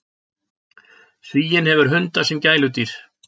Svíinn hefur hunda sem gæludýr.